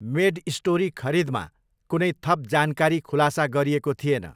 MedStory खरिदमा कुनै थप जानकारी खुलासा गरिएको थिएन।